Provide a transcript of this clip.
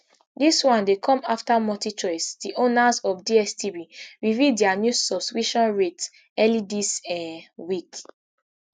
dis one dey come afta multichoice di owners of dstv reveal dia new subscription rates early dis um week